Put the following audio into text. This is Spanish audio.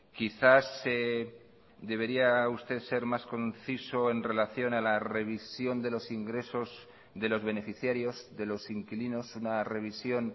quizás debería usted ser más conciso en relación a la revisión de los ingresos de los beneficiarios de los inquilinos una revisión